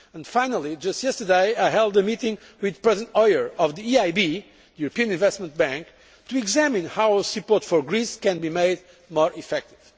Finally, just yesterday I held a meeting with President Hoyer of the European Investment Bank to examine how our support for Greece can be made more effective.